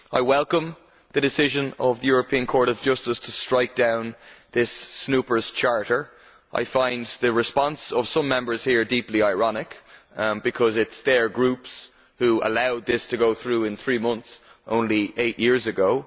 I welcome the decision of the European Court of Justice to strike down this snooper's charter'. I find the response of some Members here deeply ironic, because it is their groups who allowed this to go through in three months, only eight years ago.